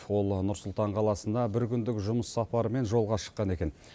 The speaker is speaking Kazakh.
ол нұр сұлтан қаласына бір күндік жұмыс сапарымен жолға шыққан екен